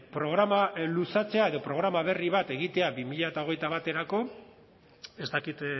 programa luzatzea edo programa berri bat egitea bi mila hogeita baterako ez dakit